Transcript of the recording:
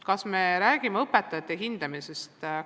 Kas me räägime õpetajate hindamisest?